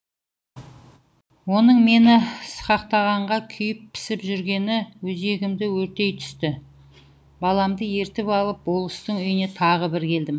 оның мені сықақтағанға күйіп пісіп жүргені өзегімді өртейтүсті баламды ертіп алып болыстың үйіне тағы бір келдім